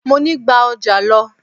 Mọ ní: gba ọjà lọ!